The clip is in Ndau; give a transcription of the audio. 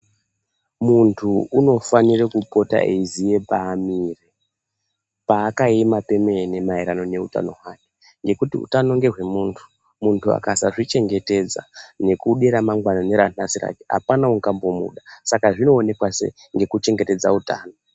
Muntu unofanire kupota eiziye pamire ,paakaema pemene maererano neutano hwake ngekuti utano ngehwe muntu ,muntu akasazvichengetedza nekude ramangwana neranhasi racho apana ungambomuda saka zvinoonekwa sei ngekuchengetedze utano.